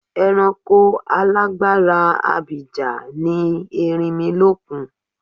Ẹranko alágbára abìjà ni erinmilókun.